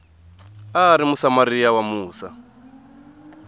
a ri musamariya wa musa